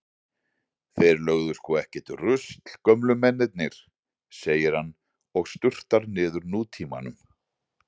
Þeir lögðu sko ekkert rusl gömlu mennirnir, segir hann og sturtar niður Nútímanum.